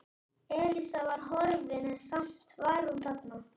Elísa var horfin en samt var hún þarna.